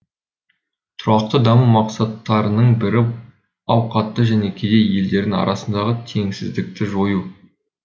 тұрақты даму мақсаттарының бірі ауқатты және кедей елдердің арасындағы теңсіздікті жою